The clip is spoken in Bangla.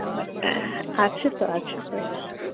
আছেতো আছে হোয়াটস